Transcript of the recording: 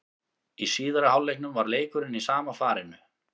Í síðari hálfleiknum var leikurinn í sama farinu.